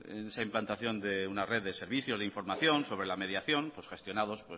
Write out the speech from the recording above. esa implantación de una red servicios de información sobre la mediación gestionados